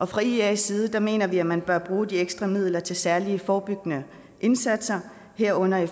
fra ias side mener vi at man bør bruge de ekstra midler til særlige forebyggende indsatser herunder